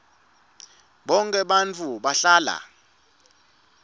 bonkhe bantfu bahlala